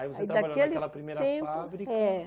Aí Aí daquele tempo Você trabalhou naquela primeira fábrica. É